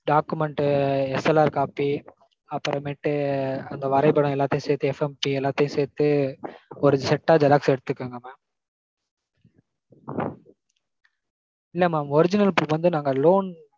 documentSLRcopy, அப்பறமேட்டு அந்த வரைபடம் எல்லாத்தையும் சேத்து FMC எல்லாத்தையும் சேத்து ஒரு செட்டா xerox எடுத்துக்கோங்க mam. இல்ல mam original proof வந்து நாங்க loan